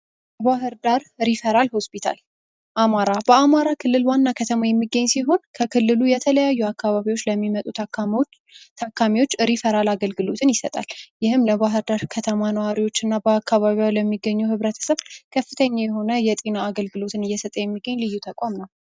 ባህርዳር ሪፈራል ሆስፒታል በአማራ ክልል ዋና ከተማ የሚጠኝ ሲሆን ከክልሉ የተለያዩ አካባቢዎች ለሚመጡ ታካሚዎች ሪፈራል አገልግሎትን ይሰጣል። ይህም ለባህርዳር ከተማ እና በዙሪያዋ ላሉ ህብረተሰብ ከፍተኛ የሆነ የጤና አገልግሎትን እየሰጠ የሚገኝ ልዩ ተቋም ነው።